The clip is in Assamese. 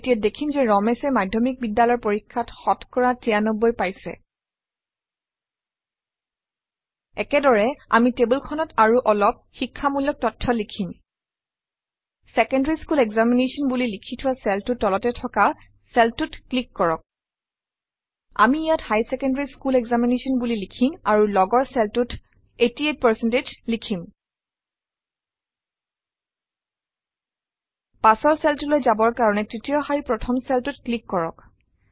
এতিয়া দেখিম যে ৰমেশে মাধ্যমিক বিদ্যালয়ৰ পৰীক্ষাত শতকৰা ৯৩ পাইছে একেদৰে আমি টেবুলখনত আৰু অলপ শিক্ষামূলক তথ্য লিখিম ছেকেণ্ডাৰী স্কুল এক্সামিনেশ্যন বুলি লিখি থোৱা চেলটোৰ তলতে থকা চেলটোত ক্লিক কৰক আমি ইয়াত হাইৰ ছেকেণ্ডাৰী স্কুল এক্সামিনেশ্যন বুলি লিখিম আৰু লগৰ চেলটোত 88 লিখিম পাছৰ চেলটোলৈ যাবৰ কাৰণে তৃতীয় শাৰীৰ প্ৰথম চেলটোত ক্লিক কৰক